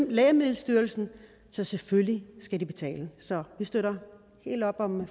lægemiddelstyrelsen så selvfølgelig skal de betale så vi støtter helt op om